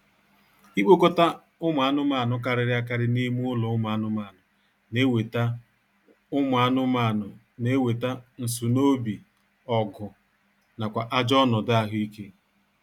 Ikpokọta ụmụ anụmaanụ karịrị akarị n'ime ụlọ ụmụ anụmanụ na-eweta ụmụ anụmanụ na-eweta nsunoobi, ọgụ, nakwa ajọ ọnọdụ ahụ ike